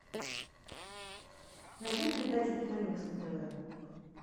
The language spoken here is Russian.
найди передачу киномикс на тв